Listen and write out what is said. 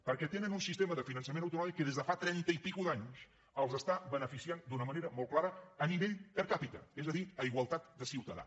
perquè tenen un sistema de finançament autonòmic que des de fa trenta anys i escaig els està beneficiant d’una manera molt clara a nivell per capita és a dir a igualtat de ciutadà